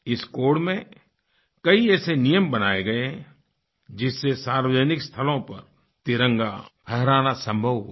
इस कोड में कई ऐसे नियम बनाए गए हैं जिससे सार्वजनिक स्थलों पर तिरंगा फहराना संभव हुआ